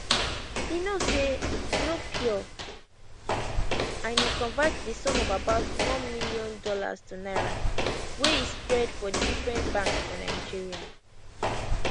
e know say no pure and e convert di sum of about one million dollars to naira wey e spread for different banks for nigeria